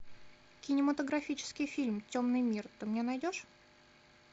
кинематографический фильм темный мир ты мне найдешь